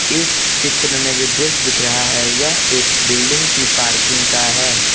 इस चित्र में जो दृश्य दिख रहा है यह एक बिल्डिंग की पार्किंग का है।